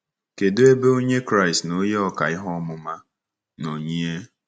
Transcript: Kedụ ebe Onye Kraịst na onye ọkà ihe ọmụma nọ yie?